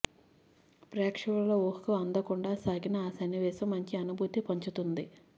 ప్రేక్షకుల ఊహకు అందకుండా సాగిన ఆ సన్నివేశం మంచి అనుభూతి పంచుతుంది